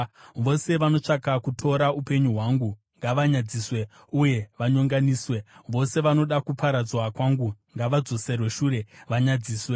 Vose vanotsvaka kutora upenyu hwangu ngavanyadziswe uye vanyonganiswe; vose vanoda kuparadzwa kwangu ngavadzoserwe shure vanyadziswe.